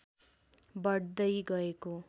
बढ्दै गएको